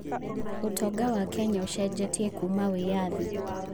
ũtonga wa Kenya ũcenjetie Kuuma wĩyathi.